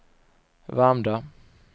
Värmdö